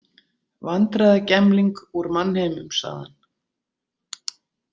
Vandræðagemling úr mannheimum, sagði hann.